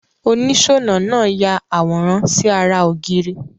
Onísònà naa ya àwòrán si ara ògiri